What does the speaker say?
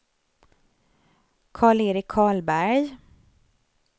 Karl-Erik Karlberg